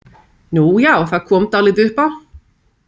Nú já, það kom dálítið upp á.